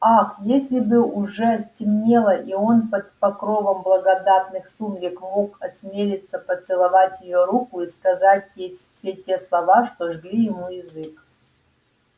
ах если бы уже стемнело и он под покровом благодатных сумерек мог осмелиться поцеловать её руку и сказать ей все те слова что жгли ему язык